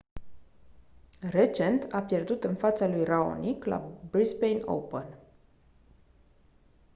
recent a pierdut în fața lui raonic la brisbane open